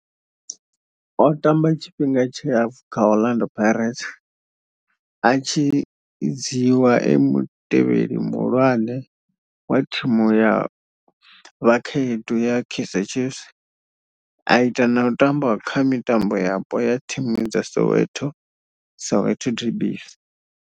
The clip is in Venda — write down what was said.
O tamba tshifhinga tshilapfhu kha Orlando Pirates, a tshi dzhiiwa e mutevheli muhulwane wa thimu ya vhakhaedu ya Kaizer Chiefs, a ita na u tamba kha mitambo yapo ya thimu dza Soweto, Soweto derbies.